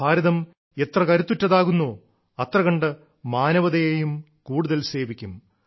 ഭാരതം എത്ര കരുത്തുറ്റതാകുന്നോ അത്രകണ്ട് മാനവതയേയും കൂടുതൽ സേവിക്കും